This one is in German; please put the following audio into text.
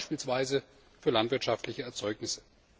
Das gilt beispielsweise für landwirtschaftliche Erzeugnisse.